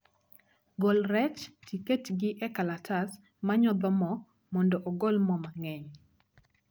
Gol rech tiket gi e kalatas manyodho moo mondo ogol moo mang'eny